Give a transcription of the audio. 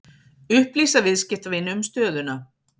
Upplýsa viðskiptavini um stöðuna